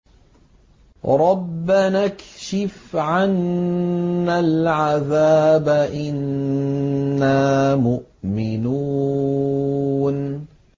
رَّبَّنَا اكْشِفْ عَنَّا الْعَذَابَ إِنَّا مُؤْمِنُونَ